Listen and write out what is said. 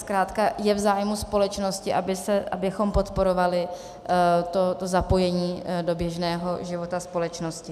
Zkrátka je v zájmu společnosti, abychom podporovali to zapojení do běžného života společnosti.